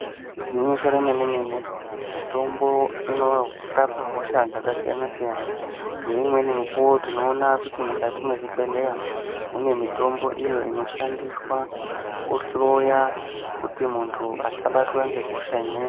Igwinyiso remene-mene, mitombo inorapa hosha dzakasiyana-siyana. Ngeimweni mikuwo tinoona kuti mukati mwezvibhedheya, mune mitombo iyo inoshandiswa kuhloya, kuti muntu asabatwa ngehosha imweni.